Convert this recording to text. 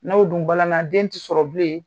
N'o dun balana den ti sɔrɔbilen